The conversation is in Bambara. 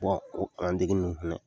o an degenin fɛnɛ